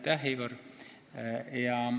Aitäh, Igor!